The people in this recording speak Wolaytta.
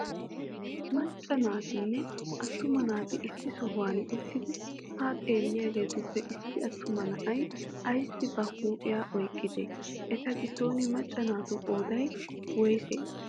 Macca naatinne atuma naati issi sohuwan uttidi haa xeeliyagetuppe issi atuma na'ay ayssi ba huuphphiya oyqqidee? Eta giddon Macca naatu qoodday woyssee?